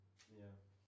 Ja